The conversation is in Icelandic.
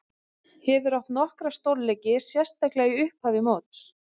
Hefur átt nokkra stórleiki, sérstaklega í upphafi móts.